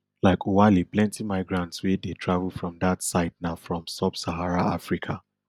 like oualy plenty migrants wey dey travel from dat side na from subsahara africa